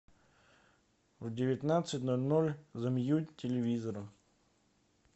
в девятнадцать ноль ноль замьють телевизора